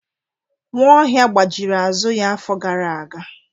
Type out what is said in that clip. Nwaohia gbajiri azụ ya afọ gara aga.